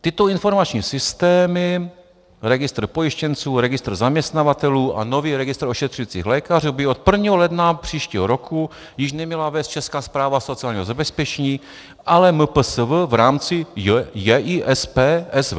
Tyto informační systémy, registr pojištěnců, registr zaměstnavatelů a nový registr ošetřujících lékařů, by od 1. ledna příštího roku již neměla vést Česká správa sociálního zabezpečení, ale MPSV v rámci JISPSV.